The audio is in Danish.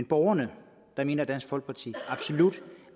borgerne mener dansk folkeparti absolut